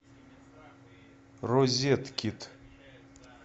розеткид